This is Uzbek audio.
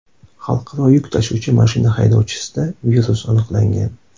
Xalqaro yuk tashuvchi mashina haydovchisida virus aniqlangan .